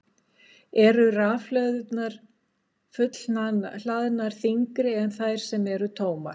Eru fullhlaðnar rafhlöður þyngri en þær sem eru tómar?